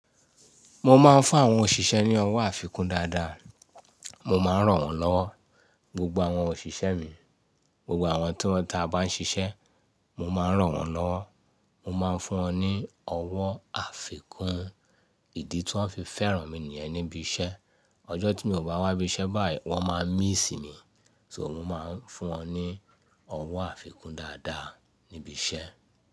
Mo máa ń fún àwọn òṣìṣẹ́ ní ọwọ́ àfikún dáadáa, mo máa ń ràn wọ́n lọ́wọ́. Gbogbo àwọn òṣìṣẹ́ mi, gbogbo àwọn tí wọ́n ta bá ń ṣiṣẹ́, mo máa ń ràn wọ́n lọ́wọ́, mo máa ń fún wọn ní ọwọ́ àfikún. Ìdí tí wọ́n fi fẹ́ràn mi nìyẹn níbi iṣẹ́. Ọjọ́ tí mi o bá wá ibi iṣẹ́ báyìí, wọ́n máa miss mi, so mo máa ń fún wọn ní ọwọ́ àfikún dáadáa níbi iṣẹ́.